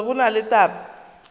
gore go na le taba